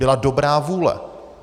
Byla dobrá vůle!